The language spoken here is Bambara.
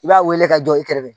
I b'a wele ka jɔ i kɛrɛfɛ